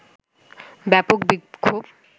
ব্যাপক বিক্ষোভ